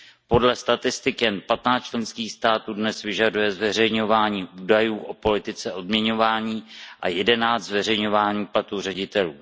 Podle statistik jen 15 členských států dnes vyžaduje zveřejňování údajů o politice odměňování a 11 zveřejňování platů ředitelů.